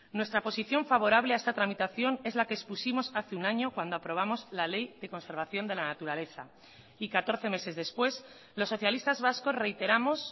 nuestra posición favorable a esta tramitación es la que expusimos hace un año cuando aprobamos la ley de conservación de la naturaleza y catorce meses después los socialistas vascos reiteramos